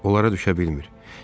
Onlara düşə bilmir.